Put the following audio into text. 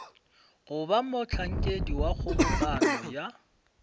goba mohlankedi wa kgobokano ya